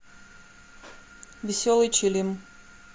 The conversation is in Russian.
веселый чилим